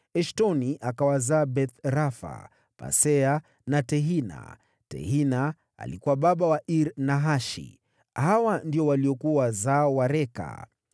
Eshtoni akawazaa Beth-Rafa, Pasea na Tehina. Tehina alikuwa baba wa Iri-Nahashi. Hawa ndio waliokuwa wazao wa Reka.